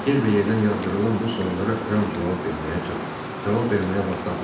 Yerbəyerdən yağdırılan bu suallara Ram cavab verməyə cavab verməyə vaxt tapmırdı.